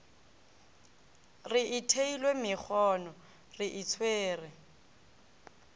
re ithwele megono re itshwere